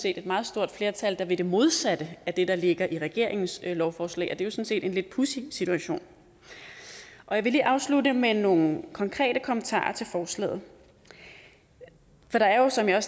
et meget stort flertal der vil det modsatte af det der ligger i regeringens lovforslag og det er set en lidt pudsig situation jeg vil lige afslutte med nogle konkrete kommentarer til forslaget for der er jo som jeg